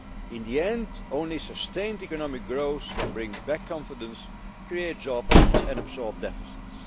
In the end only sustained economic growth can bring back confidence, create jobs and absorb deficits.